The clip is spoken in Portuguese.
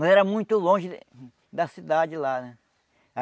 Mas era muito longe da cidade lá, né?